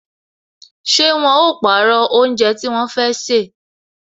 Ṣé wọn ó pàrọ̀ oúnjẹ tí wọn fẹ́ sè